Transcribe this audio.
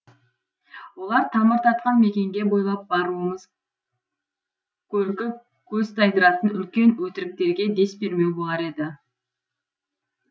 олар тамыр тартқан мекенге бойлап баруымыз көркі көз тайдыратын үлкен өтіріктерге дес бермеу болар еді